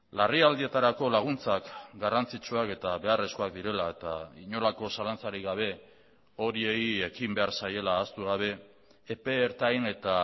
larrialdietarako laguntzak garrantzitsuak eta beharrezkoak direla eta inolako zalantzarik gabe horiei ekin behar zaiela ahaztu gabe epe ertain eta